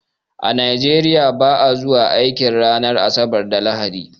A Nigeria ba'a zuwa aiki ranar asabar da lahadi